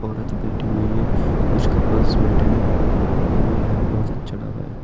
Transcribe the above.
औरत बैठी हुई है कुछ कपल्स बैठे हुए हैं और यह बहोत अच्छा ढाबा है।